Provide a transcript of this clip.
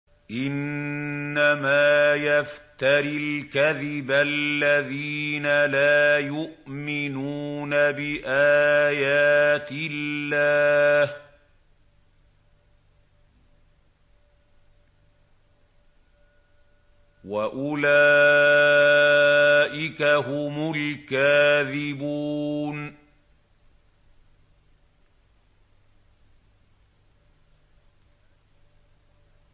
إِنَّمَا يَفْتَرِي الْكَذِبَ الَّذِينَ لَا يُؤْمِنُونَ بِآيَاتِ اللَّهِ ۖ وَأُولَٰئِكَ هُمُ الْكَاذِبُونَ